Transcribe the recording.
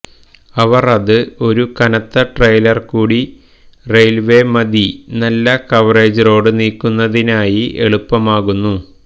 അവർ അത് ഒരു കനത്ത ട്രെയിലർ കൂടി റെയിൽവേ മതി നല്ല കവറേജ് റോഡ് നീക്കുന്നതിനായി എളുപ്പമാക്കുന്നു